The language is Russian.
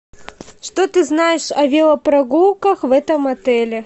что ты знаешь о велопрогулках в этом отеле